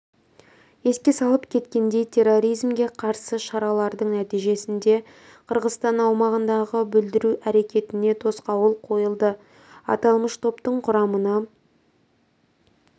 еске салып кеткендей терроризмге қарсы шаралардың нәтижесінде қырғызстан аумағындағы бүлдіру әрекетіне тосқауыл қойылды аталмыш топтың құрамына